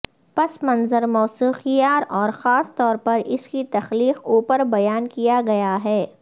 پس منظر موسیقار اور خاص طور پر اس کی تخلیق اوپر بیان کیا گیا ہے